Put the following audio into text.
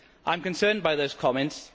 I am concerned by those comments.